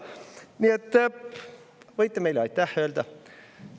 Nii et võite meile aitäh öelda.